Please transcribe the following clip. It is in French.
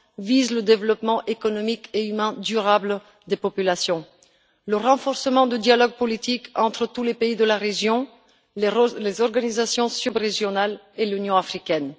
vise le développement économique et humain durable des populations. Enfin, le renforcement du dialogue politique entre tous les pays de la région, les organisations subrégionales et l'Union africaine.